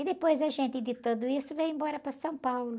E depois a gente, tudo isso, veio embora para São Paulo.